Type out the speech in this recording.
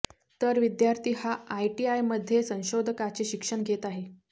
तर विद्यार्थी हा आयआयटीमध्ये संशोधकाचे शिक्षण घेत आहे